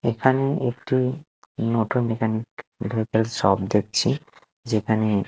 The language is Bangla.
এখানে একটি মটর মেকানিক এটার একটা শপ দেখছি যেখানে---